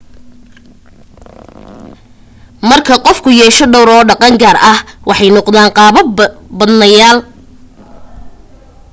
marka qofku yeesho dhowr oo dhaqan gaara ah waxay noqdaan qaabab-badnayaal